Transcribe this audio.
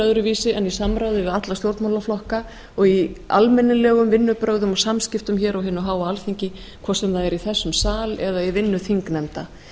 öðruvísi en í samráði við alla stjórnmálaflokka og í almennilegum vinnubrögðum og samskiptum hér á hinu háa alþingi hvort sem það er í þessum sal eða í vinnu þingnefnda